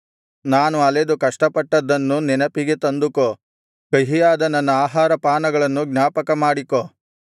ನಾನು ಅಲೆದು ಕಷ್ಟಪಟ್ಟದ್ದನ್ನು ನೆನಪಿಗೆ ತಂದುಕೋ ಕಹಿಯಾದ ನನ್ನ ಆಹಾರಪಾನಗಳನ್ನು ಜ್ಞಾಪಕಮಾಡಿಕೋ